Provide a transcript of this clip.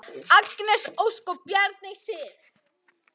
Agnes Ósk og Bjarney Sif.